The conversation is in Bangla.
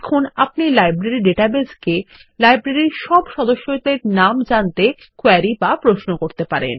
এখন আপনি লাইব্রেরী ডাটাবেস কে লাইব্রেরীর সব সদস্যদের নাম জানতে কোয়েরী বা প্রশ্ন করতে পারেন